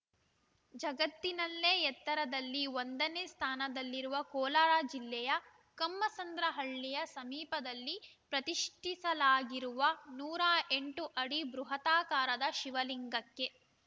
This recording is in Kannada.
ಜಗತ್ತಿನಲ್ಲೇ ಎತ್ತರದಲ್ಲಿ ಒಂದನೇ ಸ್ಥಾನದಲ್ಲಿರುವ ಕೋಲಾರ ಜಿಲ್ಲೆಯ ಕಮ್ಮಸಂದ್ರ ಹಳ್ಳಿಯ ಸಮೀಪದಲ್ಲಿ ಪ್ರತಿಷ್ಠಾಪಿಸಲಾಗಿರುವ ನೂರ ಎಂಟು ಅಡಿ ಬೃಹದಾಕಾರ ಶಿವಲಿಂಗಕ್ಕೆ